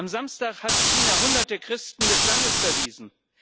Am Samstag hat China Hunderte Christen des Landes verwiesen.